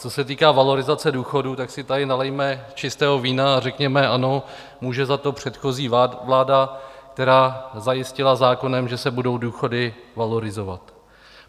Co se týká valorizace důchodů, tak si tady nalijme čistého vína a řekněme: Ano, může za to předchozí vláda, která zajistila zákonem, že se budou důchody valorizovat.